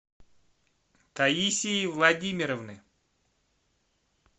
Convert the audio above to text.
таисии владимировны